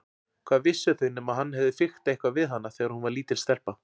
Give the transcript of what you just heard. Hvað vissu þau nema hann hefði fiktað eitthvað við hana þegar hún var lítil stelpa.